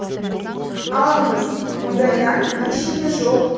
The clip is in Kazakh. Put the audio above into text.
алыңыз мұндай нан еш жерде жоқ